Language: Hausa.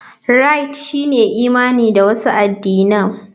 Rite shine imani da wasu addinai.